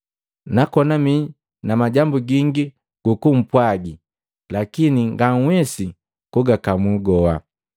“Nakona mii na majambu gingi gukumpwagi, lakini nganhuwesi kugakamu goha.